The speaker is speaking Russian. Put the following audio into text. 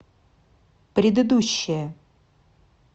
предыдущая